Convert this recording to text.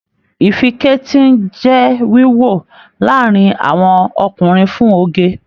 Ìfíketí n jẹ wíwọ láàrin àwọn ọkùnrin fún oge.